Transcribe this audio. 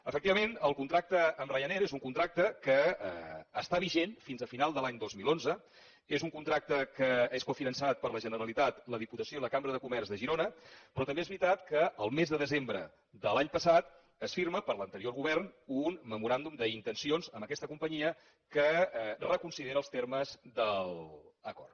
efectivament el contracte amb ryanair és un contracte que està vigent fins a final de l’any dos mil onze és un contracte que és cofinançat per la generalitat la diputació i la cambra de comerç de girona però també és veritat que el mes de desembre de l’any passat es firma per l’anterior govern un memoràndum d’intencions amb aquesta companyia que reconsidera els termes de l’acord